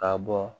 Ka bɔ